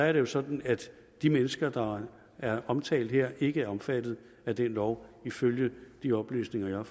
er det jo sådan at de mennesker der er omtalt her ikke er omfattet af den lov ifølge de oplysninger